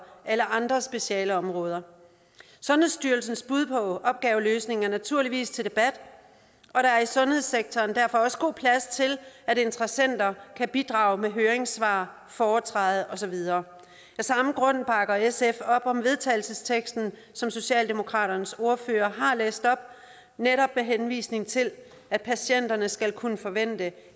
alle andre specialeområder sundhedsstyrelsens bud på opgaveløsning er naturligvis til debat og der er i sundhedssektoren derfor også god plads til at interessenter kan bidrage med høringssvar foretræde og så videre af samme grund bakker sf op om vedtagelsesteksten som socialdemokraternes ordfører har læst op netop med henvisning til at patienter skal kunne forvente